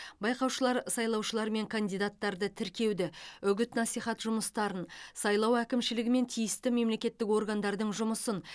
байқаушылар сайлаушылар мен кандидаттарды тіркеуді үгіт насихат жұмыстарын сайлау әкімшілігі мен тиісті мемлекеттік органдардың жұмысын